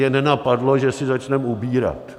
Je nenapadlo, že si začneme ubírat.